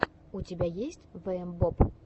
у тебя есть вээмбоб